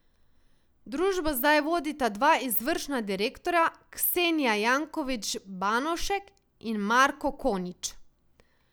Družbo zdaj vodita dva izvršna direktorja, Ksenija Jankovič Banovšek in Marko Konič.